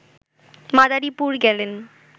মাদারীপুর গেলেন